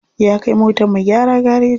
Ya kai motar mu gyara gareji.